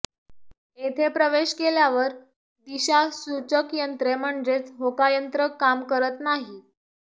येथे प्रवेश केल्यावर दिशासुचक यंत्रे म्हणजे होकायंत्र काम करत नाही